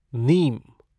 नीम